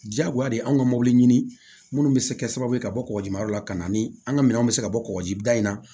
Diyagoya de an ka mobili ɲini minnu bɛ se kɛ sababu ye ka bɔ kɔgɔjira la ka na ni an ka minɛnw bɛ se ka bɔ kɔkɔjida in na